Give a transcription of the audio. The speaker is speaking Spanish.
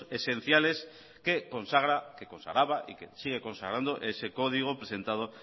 esenciales que consagra que consagraba y que sigue consagrando ese código presentado